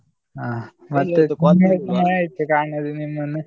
ಹಾ ತುಂಬಾ ಸಮಯ ಆಯ್ತು ಕಾಣದೆ ನಿಮ್ಮನ್ನು.